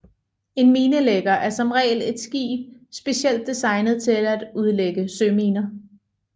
En minelægger er som regel et skib specielt designet til at udlægge søminer